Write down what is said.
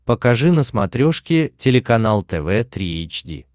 покажи на смотрешке телеканал тв три эйч ди